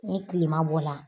Ni kilema bɔ la